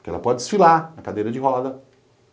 Porque ela pode desfilar na cadeira de roda.